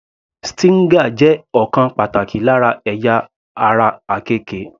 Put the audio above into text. Stinger jẹ́ ọ̀kan pàtàkì lára ẹ̀yà ara àkekè.